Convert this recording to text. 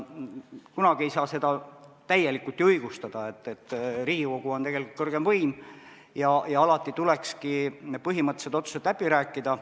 Kunagi ei saa seda täielikult ju õigustada, Riigikogu on tegelikult kõrgem võim ja alati tuleks põhimõttelised otsused läbi rääkida.